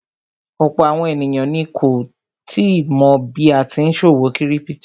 Ọ̀pọ̀ àwọn èèyàn ni kò tíì mọ̀ bí a tí n ṣòwò kírípítò